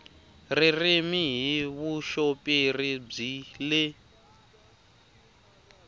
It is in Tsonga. ririmi hi vuxoperi byi le